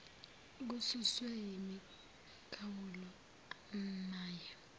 kususwe imikhawulo emaye